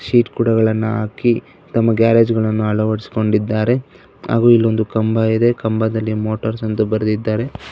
Heat ಕೊಡಗಳನ್ನ ಹಾಕಿ ತಮ್ಮ ಗ್ಯಾರೇಜ್ ಗಳನ್ನ ಅಳವಡಿಸಿಕೊಂಡಿದ್ದಾರೆ ಹಾಗು ಇಲ್ಲೊಂದು ಕಂಬ ಇದೆ ಕಂಬದಲ್ಲಿ ಮೋಟರ್ಸ್ ಅಂತ ಬರೆದಿದ್ದಾರೆ.